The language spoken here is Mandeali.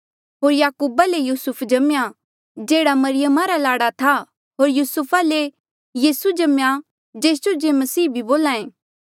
होर याकूबा ले युसुफ जम्मेया जेह्ड़ा मरियमा रा लाड़ा था होर युसुफा ले यीसू जम्मेया जेस जो जे मसीह बोल्हा ऐें